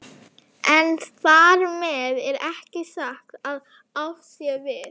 En þar með er ekki sagt að átt sé við